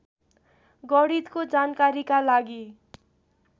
गणितको जानकारीका लागि